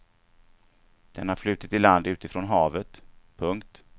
Den har flutit i land utifrån havet. punkt